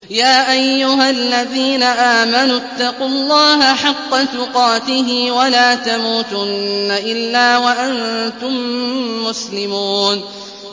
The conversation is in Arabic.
يَا أَيُّهَا الَّذِينَ آمَنُوا اتَّقُوا اللَّهَ حَقَّ تُقَاتِهِ وَلَا تَمُوتُنَّ إِلَّا وَأَنتُم مُّسْلِمُونَ